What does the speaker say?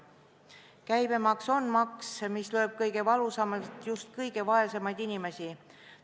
Käibemaks on maks, mis lööb kõige valusamalt just kõige vaesemaid inimesi.